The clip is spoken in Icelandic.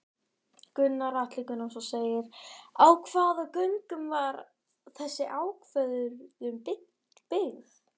Gunnar Atli Gunnarsson: Á hvaða gögnum var þessi ákvörðun byggð?